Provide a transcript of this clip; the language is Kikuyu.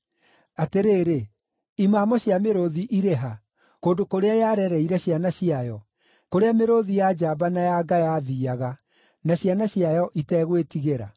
Atĩrĩrĩ, imamo cia mĩrũũthi irĩ ha, kũndũ kũrĩa yarereire ciana ciayo, kũrĩa mĩrũũthi ya njamba na ya nga yathiiaga na ciana ciayo ĩtegwĩtigĩra?